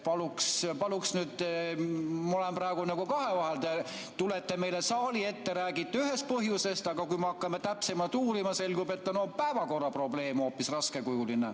Ma olen praegu nagu kahevahel, te tulete meile saali ette, räägite ühest põhjusest, aga kui me hakkame täpsemalt uurima, selgub, et päevakorra probleem on hoopis raskekujuline.